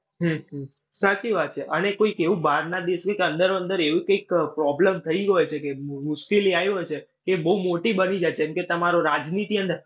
હમ સાચી વાત છે. અને કોઈક એવું બહારના દેશની કે અંદરો અંદર એવી કંઈક problem થઈ હોઈ શકે, મુ મુશ્કેલી આવી હોઈ છે કે બઉ મોટી બની જાય કેમ કે તમારો રાજનીતિ